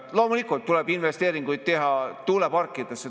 Loomulikult tuleb investeeringuid teha tuuleparkidesse.